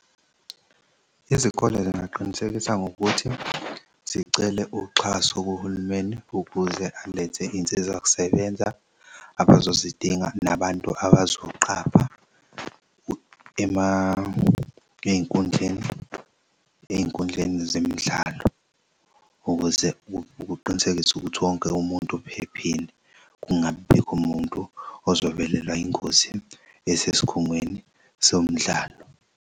Izikole zingaqinisekisa ngokuthi zicele uxhaso kuhulumeni ukuze alethe iy'nsizakusebenza abazozidinga nabantu abazoqapha ey'nkundleni, ey'nkundleni zemidlalo ukuze kuqinisekiswe ukuthi wonke umuntu uphephile kungabibikho muntu ozovelelwa ingozi esesikhungweni somdlalo.